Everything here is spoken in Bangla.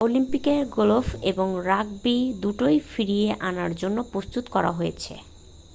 অলিম্পিকে গলফ এবং রাগবি দুটোই ফিরিয়ে আনার জন্য প্রস্তুত করা হয়েছে